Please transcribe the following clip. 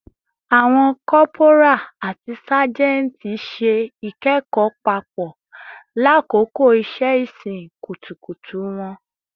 Awọn corporal ati sajenti ṣe ikẹkọ papọ lakoko iṣẹ-isin kutukutu wọn